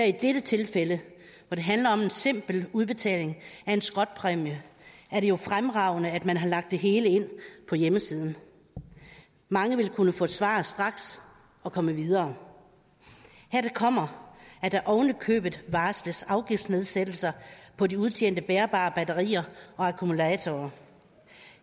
i dette tilfælde hvor det handler om en simpel udbetaling af en skrotpræmie er det jo fremragende at man har lagt det hele ind på hjemmesiden mange vil kunne få svar straks og komme videre hertil kommer at der oven i købet varsles afgiftsnedsættelser på de udtjente bærbare batterier og akkumulatorer